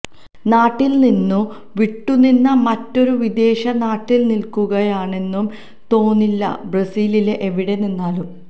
നാട്ടില് നിന്നു വിട്ടുനിന്ന് മറ്റൊരു വിദേശ നാട്ടില് നില്ക്കുകയാണെന്നു തോന്നില്ല ബ്രസീലിലെ എവിടെ നിന്നാലും